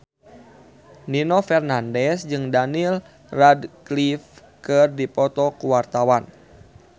Nino Fernandez jeung Daniel Radcliffe keur dipoto ku wartawan